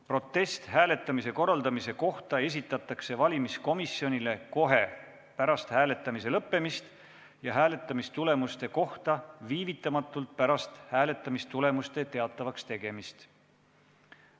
Protest hääletamise korraldamise kohta esitatakse valimiskomisjonile kohe pärast hääletamise lõppemist ja hääletamistulemuste kohta viivitamatult pärast hääletamistulemuste teatavakstegemist.